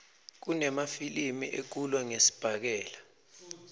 kunemafilimi ekulwa ngesibhakela